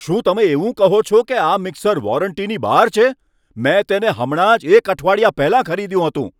શું તમે એવું કહો છો કે આ મીક્ષર વોરંટીની બહાર છે? મેં તેને હમણાં જ એક અઠવાડિયા પહેલા ખરીદ્યુ હતું!